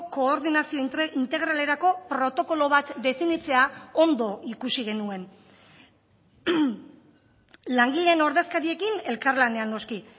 koordinazio integralerako protokolo bat definitzea ondo ikusi genuen langileen ordezkariekin elkarlanean noski